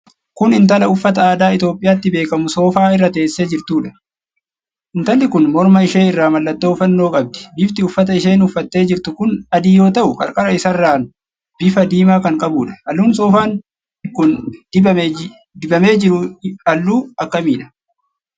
Kun intala uffata aadaa Itoophiyaatti beekamuu soofaa irra teessee jirtuudha. Intalli kun morma ishee irraa mallattoo Fannoo qabdi. Bifti uffata isheen uffattee jirtu kun adii yoo ta'u qarqara isaarraan bifa diimaa kan qabuudha. Halluun soofaan kun dibamee jiru halluu akkamiidha?